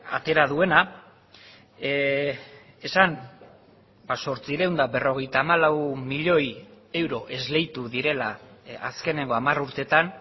atera duena esan zortziehun eta berrogeita hamalau milioi euro esleitu direla azkeneko hamar urteetan